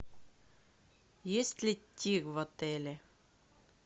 есть ли тир в отеле